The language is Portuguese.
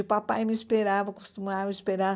O papai me esperava, costumava me esperar.